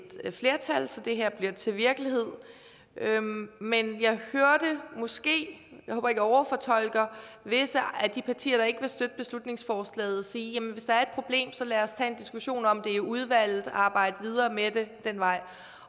flertal så det her bliver til virkelighed men jeg hørte måske jeg håber jeg overfortolker visse af de partier der ikke vil støtte beslutningsforslaget sige at hvis der er et problem så lad os tage en diskussion om det i udvalget og arbejde videre med det ad den vej